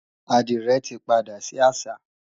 Àdìrẹ tí padà sí àṣà